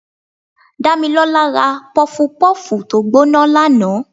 Damilola rá pufú pufú tọ gboná laná